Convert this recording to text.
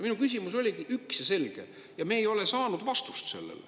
Minu küsimus oligi üks ja selge ja me ei ole saanud vastust sellele.